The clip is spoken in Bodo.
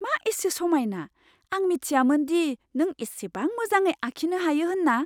मा एसे समायना! आं मिथियामोन दि नों इसिबां मोजाङै आखिनो हायो होनना!